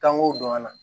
Kan k'o dɔn ka na